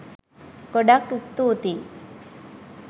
ගොඩක් ස්තුතියි